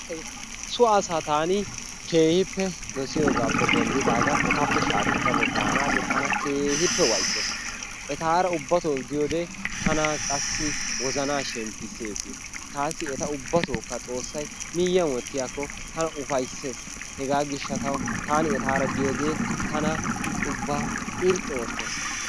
So asaa taani keehippe dosiyoogaappe denddidaagan etappe shaahettada daanaagee tana keehippe waayisees. Etaara ubbatoo diyoo qassi tana wozanaa shemppisees. Tasi ubbatokka xoossay miyiyaan wottiyaako tana ufayssees. Hegaa giishshatawu taani etaara diyoogee tana ubba irxxi oottes.